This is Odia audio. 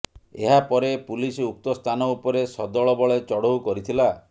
ଏହାପରେ ପୁଲିସ୍ ଉକ୍ତ ସ୍ଥାନ ଉପରେ ସଦଳବଳେ ଚଢ଼ଉ କରିଥିଲା